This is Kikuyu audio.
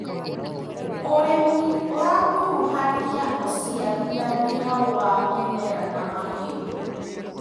ũrĩmĩ ũrakuruhania ũciarithania wa mĩmera na mahiũ.